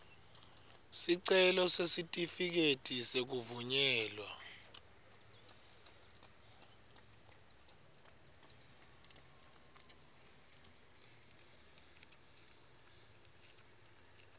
sicelo sesitifiketi sekuvunyelwa